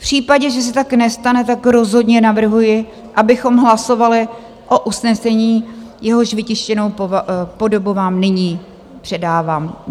V případě, že se tak nestane, tak rozhodně navrhuji, abychom hlasovali o usnesení, jehož vytištěnou podobu vám nyní předávám.